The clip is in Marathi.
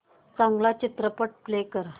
चांगला चित्रपट प्ले कर